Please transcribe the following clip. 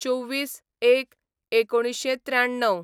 २४/०१/१९९३